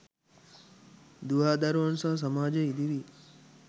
දුවාදරුවන් සහ සමාජය ඉදිරියේ